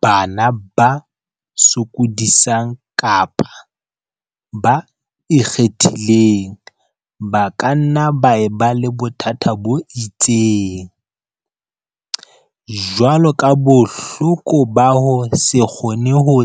Bana ba sokodisang kapa ba 'ikgethileng' ba ka nna ba e ba le bothata bo itseng, jwalo ka Bohloko ba ho se kgone ho